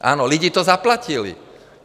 Ano, lidi to zaplatili.